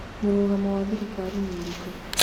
Mũrũgamo wa thirikari nĩũrĩkũ?